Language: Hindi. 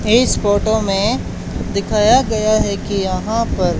इस फोटो में दिखाया गया है कि यहां पर--